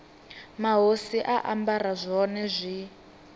mahosi a ambara zwone zwi